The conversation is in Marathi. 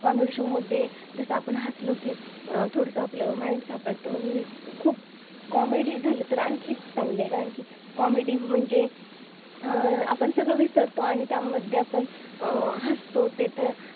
Comedy show मध्ये जसं आपण हस लो की थोडं आपलं Mind साफ असतं खूप Comedy झाले तर आणखी चांगले कारण की Comedy म्हणजे अं आपण सगळे विसरतो आणि त्यामध्ये आपण अं हसतो ते तर